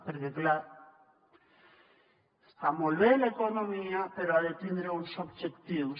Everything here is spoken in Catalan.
perquè clar està molt bé l’economia però ha de tindre uns objectius